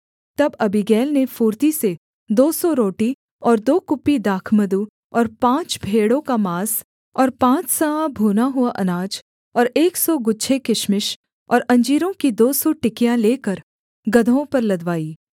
तब अबीगैल ने फुर्ती से दो सौ रोटी और दो कुप्पी दाखमधु और पाँच भेड़ों का माँस और पाँच सआ भूना हुआ अनाज और एक सौ गुच्छे किशमिश और अंजीरों की दो सौ टिकियाँ लेकर गदहों पर लदवाई